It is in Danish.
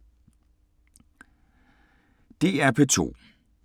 DR P2